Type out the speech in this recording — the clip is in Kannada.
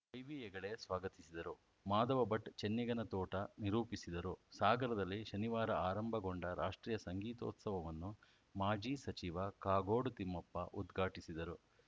ಐವಿ ಹೆಗೆಡೆ ಸ್ವಾಗತಿಸಿದರು ಮಾಧವ ಭಟ್‌ ಚೆನ್ನಿಗನತೋಟ ನಿರೂಪಿಸಿದರು ಸಾಗರದಲ್ಲಿ ಶನಿವಾರ ಆರಂಭಗೊಂಡ ರಾಷ್ಟ್ರೀಯ ಸಂಗೀತೋತ್ಸವವನ್ನು ಮಾಜಿ ಸಚಿವ ಕಾಗೋಡು ತಿಮ್ಮಪ್ಪ ಉದ್ಘಾಟಿಸಿದರು